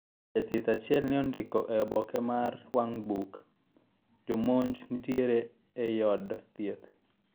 Jathieth achil ne ondiko e oboke ne mar wang'buk:Jomonj nitiere ei od thieth.